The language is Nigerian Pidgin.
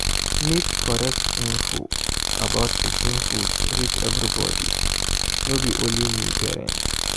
make correct info about pikin food reach everybody no be only new parents.